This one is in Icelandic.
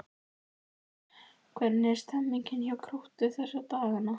Hvernig er stemmningin hjá Gróttu þessa dagana?